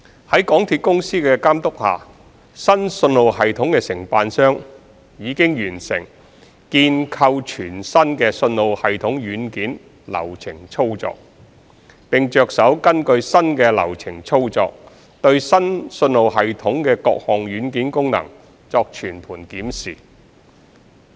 在港鐵公司的監督下，新信號系統的承辦商已完成建構全新的信號系統軟件流程操作，並着手根據新的流程操作，對新信號系統的各項軟件功能作全盤檢視。